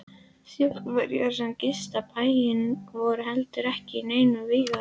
Þjóðverjar sem gistu bæinn voru heldur ekki í neinum vígahug.